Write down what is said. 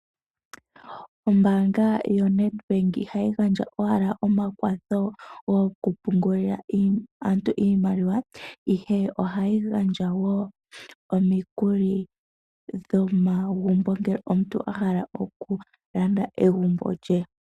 Ombanga yoNedbank ihayi gandja owala omakwatho goku pungulila aantu iimaliwa. Ihe ohayi gandja wo omikuli dhomagumbo ngele omuntu a hala oku landa egumbo lye.